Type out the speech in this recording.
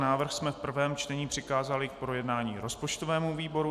Návrh jsme v prvém čtení přikázali k projednání rozpočtovému výboru.